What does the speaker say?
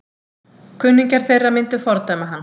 Kunningjar þeirra myndu fordæma hann.